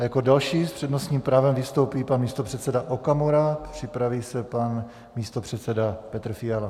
A jako další s přednostním právem vystoupí pan místopředseda Okamura, připraví se pan místopředseda Petr Fiala.